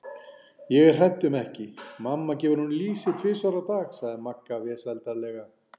Ég er hrædd um ekki, mamma gefur honum lýsi tvisvar á dag sagði Magga vesældarlega.